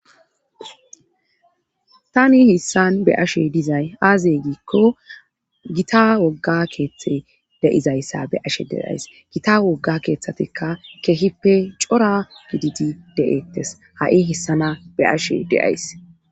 Tani hissan be ashe dizay aazey giikko gita wogga keeththe deizayssa beashe deays gita wogga keeththatikka kehippe cora gididi de'eettes ha'i hessana be ashe deays.